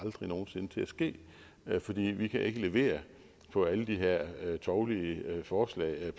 til at ske fordi vi kan levere på alle de her tovlige forslag